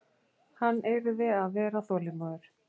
Hann yrði að vera þolinmóður.